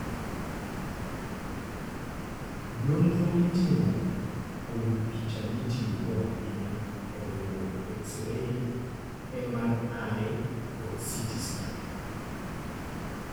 Nonro mitimo kuom picha mitiyogo ahinya oriwo: X ray, MRI, kod CT scan.